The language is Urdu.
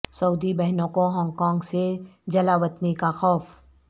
سعودی بہنوں کو ہانگ کانگ سے جلاوطنی کا خوف